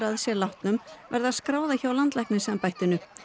að sér látnum verða að skrá það hjá landlæknisembættinu